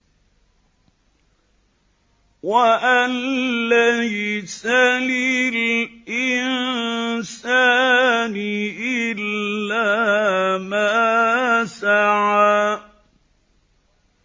وَأَن لَّيْسَ لِلْإِنسَانِ إِلَّا مَا سَعَىٰ